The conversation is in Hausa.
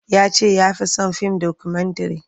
Ya ce ya fi son fim dokumentare.